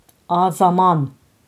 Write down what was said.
A zaman.